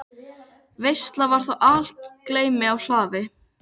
Veisla var þá í algleymi á hlaði.